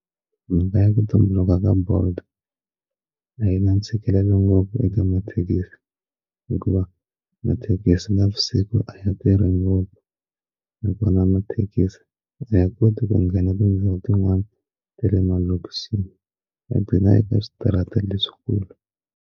Mhaka ya ku tumbuluka ka bolt ayina ntshikelelo ngopfu eka mathekisi hikuva mathekisi navusiku a ya tirhi ngopfu na kona mathekisi a ya koti ku nghena tindhawu tin'wani ta le malokixini a eka switarata leswikulu.